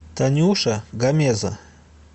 танюша гамеза